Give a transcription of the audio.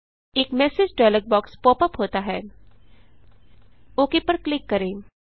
एक message dialog box pop up होता हैOK पर क्लिक करें